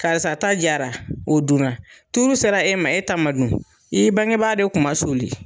Karisa ta jara, o dunna, tuuru sera e ma, e ta ma dun, i bangebaa de kun masuli!